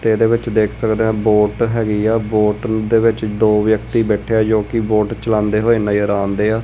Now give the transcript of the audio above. ਤੇ ਇਹਦੇ ਵਿੱਚ ਦੇਖ ਸਕਦੇ ਹਾਂ ਬੋਟ ਹੈਗੀ ਆ ਬੋਟ ਦੇ ਵਿੱਚ ਦੋ ਵਿਅਕਤੀ ਬੈਠੇ ਆ ਜੋ ਕਿ ਬੋਟ ਚਲਾਉਂਦੇ ਹੋਏ ਨਜ਼ਰ ਆਣ ਢਏ ਆ।